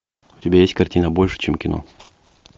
у тебя есть картина больше чем кино